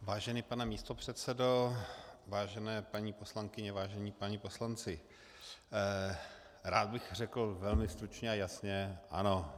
Vážený pane místopředsedo, vážené paní poslankyně, vážení páni poslanci, rád bych řekl velmi stručně a jasně: Ano.